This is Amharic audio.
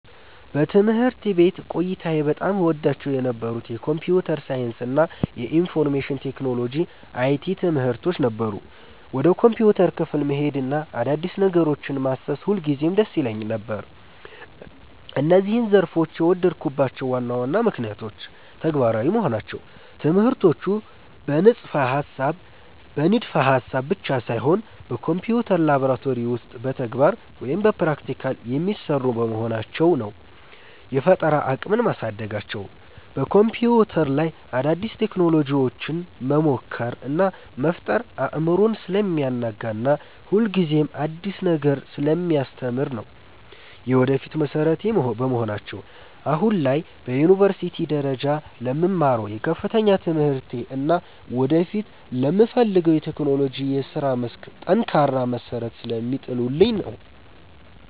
በትምህርት ቤት ቆይታዬ በጣም እወዳቸው የነበሩት የኮምፒውተር ሳይንስ እና የኢንፎርሜሽን ቴክኖሎጂ (IT) ትምህርቶች ነበሩ። ወደ ኮምፒውተር ክፍል መሄድና አዳዲስ ነገሮችን ማሰስ ሁልጊዜም ደስ ይለኝ ነበር። እነዚህን ዘርፎች የወደድኩባቸው ዋና ዋና ምክንያቶች፦ ተግባራዊ መሆናቸው፦ ትምህርቶቹ በንድፈ-ሐሳብ ብቻ ሳይሆን በኮምፒውተር ላብራቶሪ ውስጥ በተግባር (Practical) የሚሰሩ በመሆናቸው ነው። የፈጠራ አቅምን ማሳደጋቸው፦ በኮምፒውተር ላይ አዳዲስ ቴክኖሎጂዎችን መሞከር እና መፍጠር አእምሮን ስለሚያናጋና ሁልጊዜም አዲስ ነገር ስለሚያስተምር ነው። የወደፊት መሠረቴ በመሆናቸው፦ አሁን ላይ በዩኒቨርሲቲ ደረጃ ለምማረው የከፍተኛ ትምህርቴ እና ወደፊት ለምፈልገው የቴክኖሎጂ የሥራ መስክ ጠንካራ መሠረት ስለሚጥሉልኝ ነው።